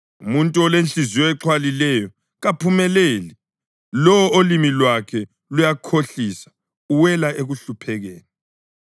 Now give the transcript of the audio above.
Umuntu olenhliziyo exhwalileyo kaphumeleli; lowo olimi lwakhe luyakhohlisa uwela ekuhluphekeni.